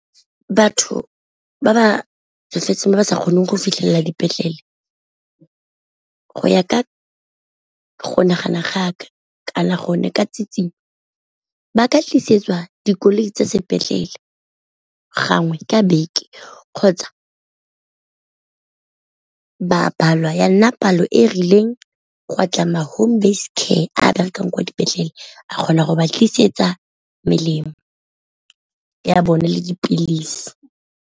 Batho ba ba tsofetseng ba ba sa kgoneng go fitlhelela dipetlele go ya ka go nagana ga ka kana gone ka tsietsinyo, ba ka tlisetsa dikoloi tsa sepetlele gangwe ka beke kgotsa ba balwa ya nna palo e rileng gwa tla ma home based care a berekang kwa dipetlele a kgona go ba tlisetsa melemo ya bone le dipilisi.